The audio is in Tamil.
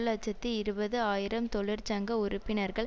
இலட்சத்தி இருபது ஆயிரம் தொழிற்சங்க உறுப்பினர்கள்